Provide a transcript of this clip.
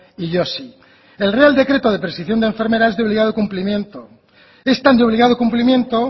y yo sí el real decreto de prescripción de enfermeras es de obligado cumplimiento es tan de obligado cumplimiento